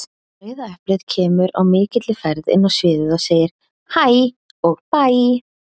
Rauða eplið kemur á mikilli ferð inn á sviðið, og segir HÆ og BÆ!